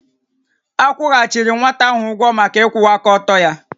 A kwụghachiri nwata ahụ ụgwọ maka ịkwụwa aka ọtọ ya